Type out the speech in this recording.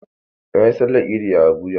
Na yi Sallar Idi a Abuja.